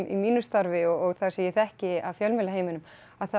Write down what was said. mínu starfi og það sem ég þekki af fjölmiðlaheiminum að það